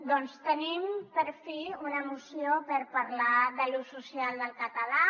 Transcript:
doncs tenim per fi una moció per parlar de l’ús social del català